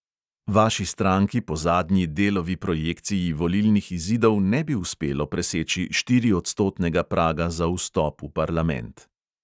Vaši stranki po zadnji delovi projekciji volilnih izidov ne bi uspelo preseči štiriodstotnega praga za vstop v parlament.